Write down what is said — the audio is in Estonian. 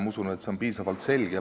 Ma usun, et see on piisavalt selge.